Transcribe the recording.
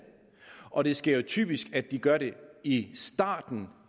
og det sker typisk at de gør det i starten